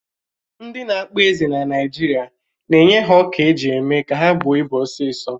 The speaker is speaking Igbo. Ndị na-akpa ezi na Naijiria na-enye ha ọkà eji méé ka ha bụó ị́bu osisọ̀